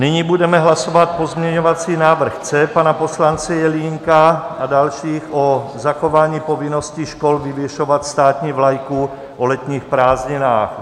Nyní budeme hlasovat pozměňovací návrh C pana poslance Jelínka a dalších o zachování povinnosti škol vyvěšovat státní vlajku o letních prázdninách.